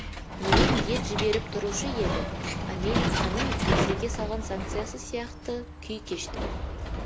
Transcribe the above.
енем ет жіберіп тұрушы еді әміриканың ресейга салған санкциясы сияқты күй кештім